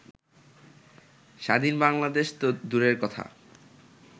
স্বাধীন বাংলাদেশ তো দূরের কথা